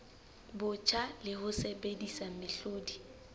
botjha le ho sebedisa mehlodi